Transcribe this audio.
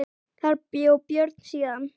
Þar bjó Björn síðan.